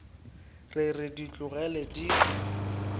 re re di tlogele di